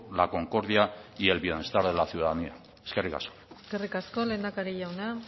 la concordia y el bienestar de la ciudadanía eskerrik asko eskerrik asko lehendakari jauna